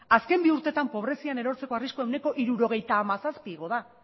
azken bi urteetan pobrezian erortzeko arriskua ehuneko hirurogeita hamazazpi igo da